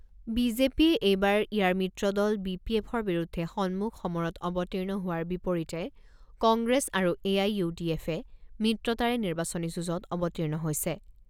B J পিয়ে এইবাৰ ইয়াৰ মিত্ৰদল বি পি এফৰ বিৰুদ্ধে সম্মুখ সমৰত অৱতীৰ্ণ হোৱাৰ বিপৰীতে কংগ্ৰেছ আৰু এ আই ইউ ডি এফে মিত্ৰতাৰে নিৰ্বাচনী যুঁজত অৱতীৰ্ণ হৈছে।